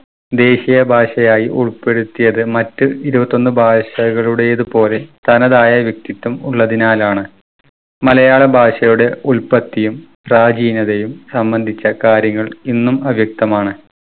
ദേശീയ ഭാഷയായി ഉൾപ്പെടുത്തിയത് മറ്റ് ഇരുപത്തൊന്ന് ഭാഷകളുടേത് പോലെ തനതായ വ്യക്തിത്വം ഉള്ളതിനാലാണ്. മലയാള ഭാഷയുടെ ഉല്പത്തിയും പ്രാചീനതയും സംബന്ധിച്ച കാര്യങ്ങൾ ഇന്നും അവ്യക്‌തമാണ്.